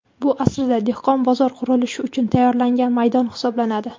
Bu, aslida, dehqon bozor qurilishi uchun tayyorlangan maydon hisoblanadi.